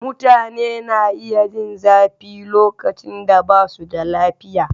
Mutane na iya jin zafi lokacin da ba su da lafiya.